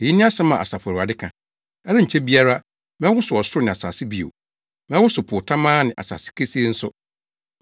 “Eyi ne asɛm a Asafo Awurade ka. ‘Ɛrenkyɛ biara, mɛwosow ɔsoro ne asase bio. Mɛwosow po tamaa ne asase kesee nso.